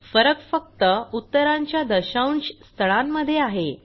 फरक फक्त उत्तरांच्या दशांश स्थळांमध्ये आहे